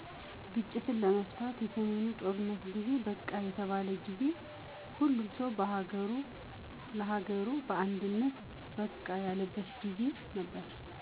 ግጭትን ለመፍታት የሰሜኑ ጦርነት ጊዜ #በቃ የተባለ ጊዜ። ሁሉም ሠው ለሀገሩ በአንድነት #በቃ ያለበት ነበር